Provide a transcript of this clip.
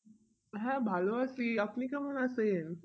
হাঁ ভাল আছি, আপনি কেমন আছেন?